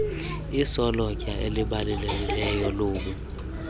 isolotya elibalulekileyo lobu